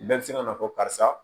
Bɛɛ bɛ se ka na fɔ karisa